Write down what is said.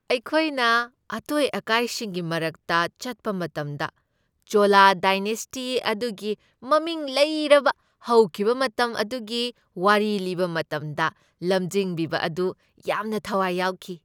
ꯑꯩꯈꯣꯏꯅ ꯑꯇꯣꯏ ꯑꯀꯥꯏꯁꯤꯡꯒꯤ ꯃꯔꯛꯇ ꯆꯠꯄ ꯃꯇꯝꯗ ꯆꯣꯂꯥ ꯗꯥꯏꯅꯦꯁꯇꯤ ꯑꯗꯨꯒꯤ ꯃꯃꯤꯡ ꯂꯩꯔꯕ ꯍꯧꯈꯤꯕ ꯃꯇꯝ ꯑꯗꯨꯒꯤ ꯋꯥꯔꯤ ꯂꯤꯕ ꯃꯇꯝꯗ ꯂꯝꯖꯤꯡꯕꯤꯕ ꯑꯗꯨ ꯌꯥꯝꯅ ꯊꯥꯋꯥꯏ ꯌꯥꯎꯈꯤ ꯫